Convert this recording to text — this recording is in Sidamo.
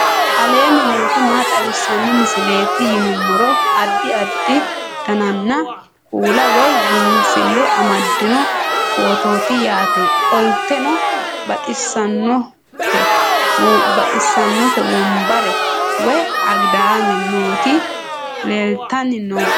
aleenni nooti maa xawisanno misileeti yinummoro addi addi dananna kuula woy biinsille amaddino footooti yaate qoltenno baxissannote wombare woy agidaame nooti leeltanni nooe